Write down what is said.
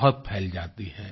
बहुत फैल जाती हैं